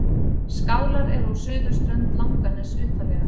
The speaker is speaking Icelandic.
Skálar eru á suðurströnd Langaness utarlega.